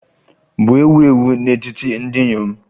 bụ ewu ewu n'etiti ndị inyom